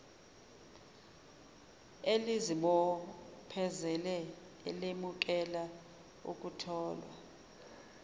elizibophezele elemukela ukutholwa